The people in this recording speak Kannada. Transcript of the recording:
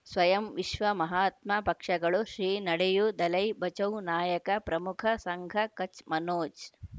ಸ್ವಯಂ ವಿಶ್ವ ಮಹಾತ್ಮ ಪಕ್ಷಗಳು ಶ್ರೀ ನಡೆಯೂ ದಲೈ ಬಚೌ ನಾಯಕ ಪ್ರಮುಖ ಸಂಘ ಕಚ್ ಮನೋಜ್